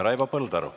Raivo Põldaru.